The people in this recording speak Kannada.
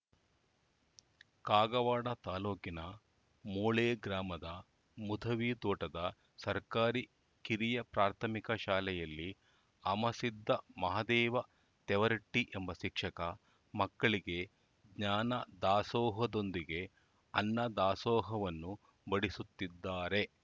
ಕಾಗವಾಡ ತಾಲೂಕಿನ ಮೋಳೆ ಗ್ರಾಮದ ಮುಧವಿ ತೋಟದ ಸರ್ಕಾರಿ ಕಿರಿಯ ಪ್ರಾಥಮಿಕ ಶಾಲೆಯಲ್ಲಿ ಅಮಸಿದ್ದ ಮಹಾದೇವ ತೆವರಟ್ಟಿಎಂಬ ಶಿಕ್ಷಕ ಮಕ್ಕಳಿಗೆ ಜ್ಞಾನ ದಾಸೋಹದೊಂದಿಗೆ ಅನ್ನ ದಾಸೋಹವನ್ನು ಬಡಿಸುತ್ತಿದ್ದಾರೆ